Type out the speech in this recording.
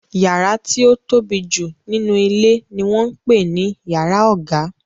Yàrá tí ó tóbi jù nínú ilé ni wọ́n ń pè ní yàrá ọ̀gá.